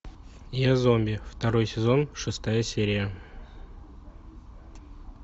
я зомби второй сезон шестая серия